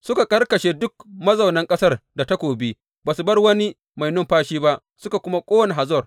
Suka karkashe duk mazaunan ƙasar da takobi, ba su bar wani mai numfashi ba, suka kuma ƙona Hazor.